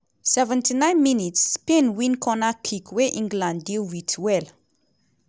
79 mins - spain win cornerkick wey england deal wit well.